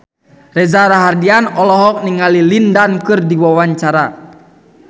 Reza Rahardian olohok ningali Lin Dan keur diwawancara